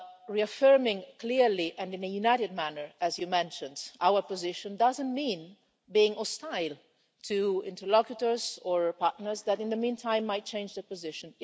Reaffirming clearly and in a united manner, as you mentioned, our position doesn't mean being hostile to interlocutors or partners that, in the meantime, might change their position.